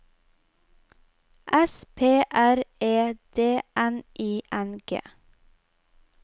S P R E D N I N G